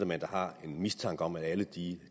man da har en mistanke om at de